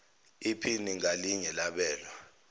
iphini ngalinye labelwa